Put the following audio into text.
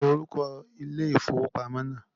Kíni orúkọ ilé ifówópamọ́ náà?